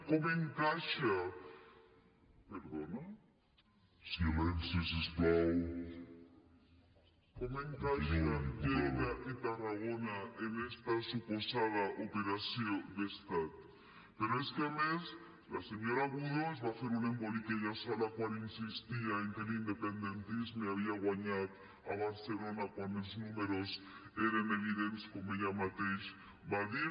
com encaixen lleida i tarragona en esta suposada operació d’estat però és que a més la senyora budó es va fer un embolic ella sola quan insistia que l’independentisme havia guanyat a barcelona quan els números eren evidents com ella mateixa va dir